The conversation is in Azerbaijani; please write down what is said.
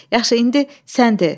Yaxşı, indi sən de.